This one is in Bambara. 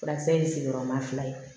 Furakisɛ ye sigiyɔrɔma fila ye